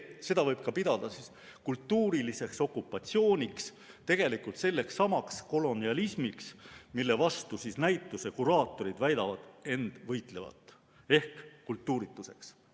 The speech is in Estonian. Seda võib ka pidada kultuuriliseks okupatsiooniks, tegelikult sellekssamaks kolonialismiks, mille vastu näituse kuraatorid väidavad end võitlevat, ehk kultuurituseks.